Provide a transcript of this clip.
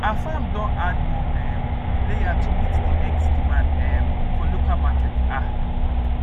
our farm don add more um layer to meet the eggs demand um for local market um